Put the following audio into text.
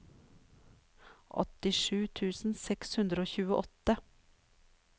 åttisju tusen seks hundre og tjueåtte